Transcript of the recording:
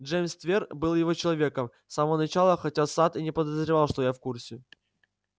джеймс твер был его человеком с самого начала хотя сатт и не подозревал что я в курсе